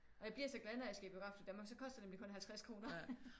Og jeg bliver så glad når jeg skal i Biografklub Danmark så koster det nemlig kun 50 kroner